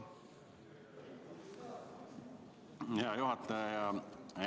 Hea juhataja!